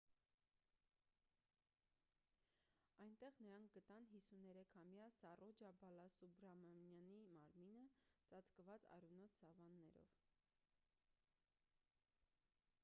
այնտեղ նրանք գտան 53-ամյա սառոջա բալասուբրամանյանի մարմինը ծածկված արյունոտ սավաններով